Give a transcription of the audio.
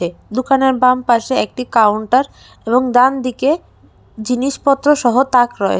দোকানের বাম পাশে একটি কাউন্টার এবং ডানদিকে জিনিসপত্রসহ তাক রয়ে--